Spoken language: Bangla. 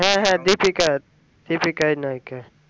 হ্যাঁ হ্যাঁ deepika deepika ই নায়িকা